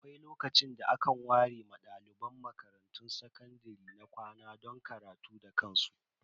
Akwai lokacin da aka ware ma dalibai sakandare na makarantun kwana don karatu da kansu.